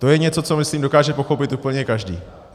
To je něco, co myslím, dokáže pochopit úplně každý.